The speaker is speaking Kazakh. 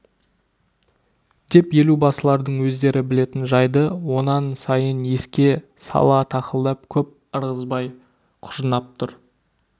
деп елубасылардың өздері білетін жайды онан сайын еске сала тақылдап көп ырғызбай құжынап тұр